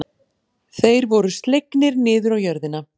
Þeir voru slegnir niður á jörðina.